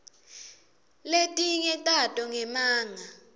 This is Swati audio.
letinye tato ngemanga